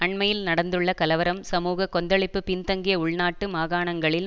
அண்மையில் நடந்துள்ள கலவரம் சமூக கொந்தளிப்பு பின்தங்கிய உள்நாட்டு மாகாணாங்களில்